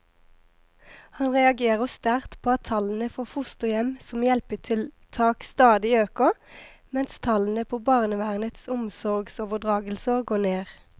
Han reagerer sterkt på at tallene for fosterhjem som hjelpetiltak stadig øker, mens tallene på barnevernets omsorgsoverdragelser går ned.